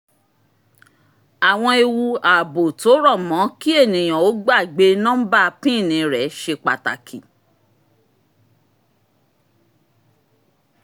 àwọn ewu ààbò tó rọ̀ mọ́ kí ènìyàn ó gbàgbé nọ́mbà pin rẹ̀ ṣe pàtàkì